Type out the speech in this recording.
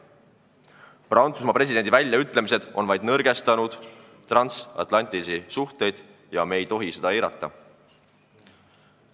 Prantsusmaa presidendi väljaütlemised on vaid nõrgestanud transatlantilisi suhteid ja me ei tohi seda eirata.